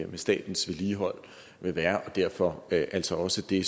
med statens vedligehold vil være og derfor altså også det